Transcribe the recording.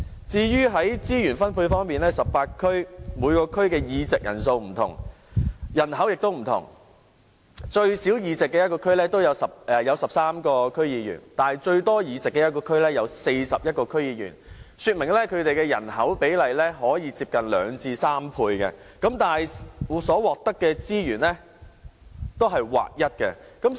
至於資源分配方面 ，18 區各區的議席人數不同，人口也不同，最少議席的地區有13名區議員，但最多議席的地區有41名區議員，說明人口比例可以相差近2倍至3倍，但所獲得的資源也是劃一的。